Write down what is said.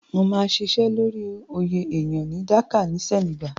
Máa ṣiṣẹ́ lórí oyè èyán.